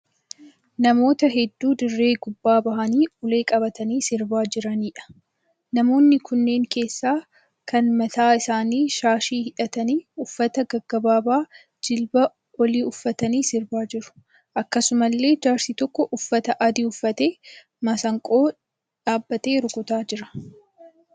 Namoota hedduu dirree gubbaa ba'anii ulee qabatanii sirbaa jiraniidha. Namoonni kunneen keessaa kaan mataa isaaniitti shaashii hidhatanii, uffata gabaabaa jilbaa olii uffatanii sirbaa jiru. Akkasumallee jaarsi tokko uffata adii uffatee masiinqoo dhaabbatee rukutaa jira.